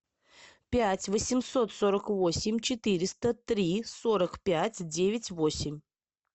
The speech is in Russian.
пять восемьсот сорок восемь четыреста три сорок пять девять восемь